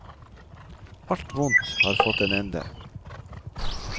Alt vondt har fått en ende.